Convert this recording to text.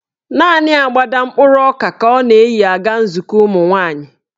Naanị agbada mkpụrụ ọka ka ọ na-eyi aga nzukọ ụmụnwaanyị.